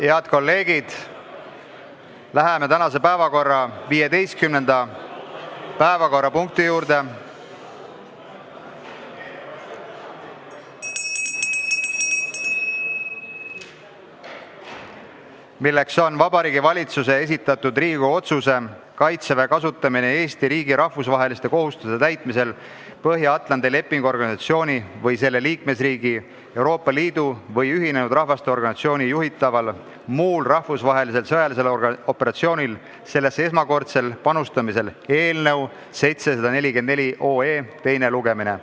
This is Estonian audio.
Head kolleegid, läheme tänase 15. päevakorrapunkti juurde, milleks on Vabariigi Valitsuse esitatud Riigikogu otsuse "Kaitseväe kasutamine Eesti riigi rahvusvaheliste kohustuste täitmisel Põhja-Atlandi Lepingu Organisatsiooni või selle liikmesriigi, Euroopa Liidu või Ühinenud Rahvaste Organisatsiooni juhitaval muul rahvusvahelisel sõjalisel operatsioonil sellesse esmakordsel panustamisel" eelnõu 744 teine lugemine.